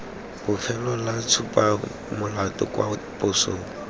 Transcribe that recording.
bofelo la tshupamolato kwa posong